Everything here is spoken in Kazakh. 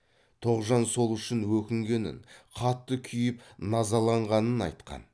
тоғжан сол үшін өкінгенін қатты күйіп назаланғанын айтқан